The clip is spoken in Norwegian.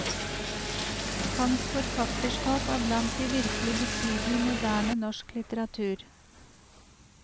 Hans forfatterskap er blant de virkelig betydelige i moderne norsk litteratur.